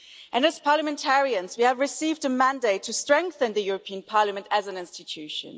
And as parliamentarians we have received a mandate to strengthen the European Parliament as an institution.